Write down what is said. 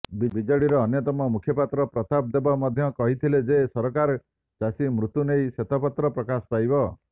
ବିଜେଡିର ଅନ୍ୟତମ ମୁଖପାତ୍ର ପ୍ରତାପ ଦେବ ମଧ୍ୟ କହିଥିଲେ ଯେ ସରକାର ଚାଷୀମୃତ୍ୟୁ ନେଇ ଶ୍ୱେତପତ୍ର ପ୍ରକାଶ ପାଇବ